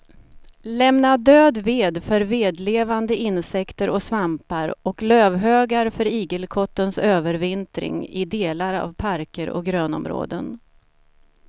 Lämna död ved för vedlevande insekter och svampar och lövhögar för igelkottens övervintring i delar av parker och grönområden.